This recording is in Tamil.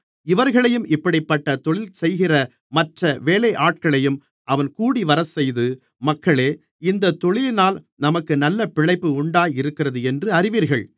இவர்களையும் இப்படிப்பட்டத் தொழில்செய்கிற மற்ற வேலையாட்களையும் அவன் கூடிவரச்செய்து மக்களே இந்தத் தொழிலினால் நமக்கு நல்ல பிழைப்பு உண்டாயிருக்கிறதென்று அறிவீர்கள்